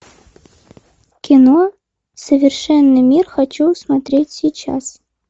кино совершенный мир хочу смотреть сейчас